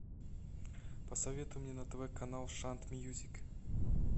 посоветуй мне на тв канал шант мьюзик